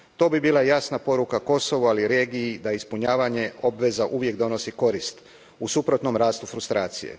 To bi bila jasna poruka Kosovu, ali i regiji, da ispunjavanje obveza uvijek donosi korist, u suprotnom rastu frustracije.